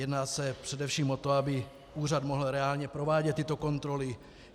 Jedná se především o to, aby úřad mohl reálně provádět tyto kontroly.